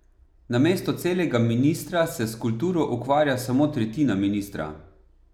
Namesto celega ministra se s kulturo ukvarja samo tretjina ministra.